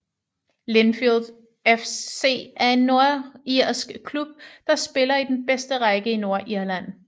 Linfield FC er en nordirsk klub der spiller i den bedste række i Nordirland